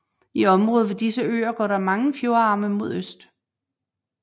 I området ved disse øer går der mange fjordarme mod øst